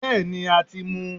bẹẹni,a tí mú